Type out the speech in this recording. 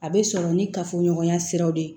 A bɛ sɔrɔ ni kafoɲɔgɔnya siraw de ye